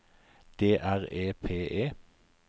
D R E P E